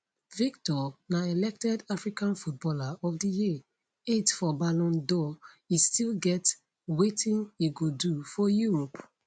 victor na elected african footballer of di year eighth for ballon dor e still get wetin e go do for europe